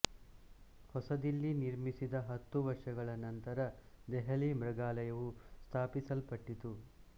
ಹೊಸ ದಿಲ್ಲಿ ನಿರ್ಮಿಸಿದ ಹತ್ತು ವರ್ಷಗಳ ನಂತರ ದೆಹಲಿ ಮೃಗಾಲಯವು ಸ್ಥಾಪಿಸಲ್ಪಟ್ಟಿತು